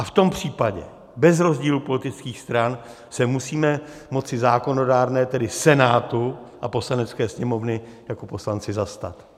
A v tom případě bez rozdílu politických stran se musíme moci zákonodárné, tedy Senátu a Poslanecké sněmovny, jako poslanci zastat.